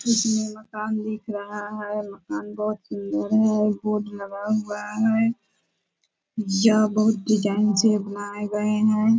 जिसमे मकान दिख रहा है मकान बहोत सुंदर है बोर्ड लगा हुआ है यह बोहोत डिज़ाइन से बनाये गए है --